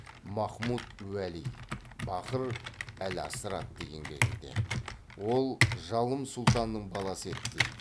махмуд уәли бахр әл аср атты еңбегінде ол жалым сұлтанның баласы еді дейді